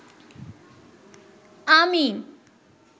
আমি